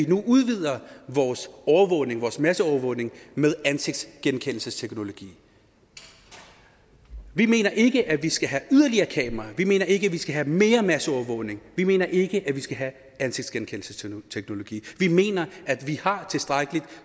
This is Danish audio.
nu udvider overvågningen masseovervågningen med ansigtsgenkendelsesteknologi vi mener ikke at vi skal have yderligere kameraer vi mener ikke at vi skal have mere masseovervågning vi mener ikke at vi skal have ansigtsgenkendelsesteknologi vi mener at vi har tilstrækkeligt